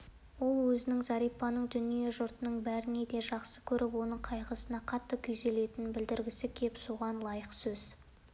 ол өзінің зәрипаны дүниеде жұрттың бәрінен де жақсы көріп оның қайғысына қатты күйзелетінін білдіргісі келіп соған лайықты сөз